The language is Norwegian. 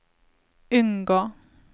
unngå